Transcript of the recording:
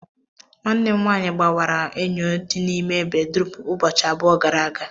Nwanne m nwaanyị gbawara enyo dị n'ime bedrum ụbọchị abụọ gara aga